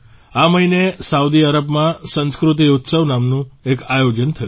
આ મહિને સાઉદી અરબમાં સંસ્કૃતિ ઉત્સવ નામનું એક આયોજન થયું